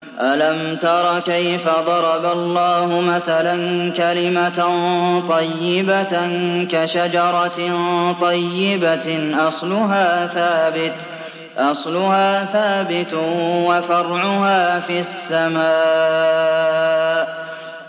أَلَمْ تَرَ كَيْفَ ضَرَبَ اللَّهُ مَثَلًا كَلِمَةً طَيِّبَةً كَشَجَرَةٍ طَيِّبَةٍ أَصْلُهَا ثَابِتٌ وَفَرْعُهَا فِي السَّمَاءِ